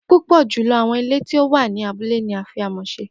pupọ julọ awọn ile ti o wa ni abule ni a fi amọ ṣe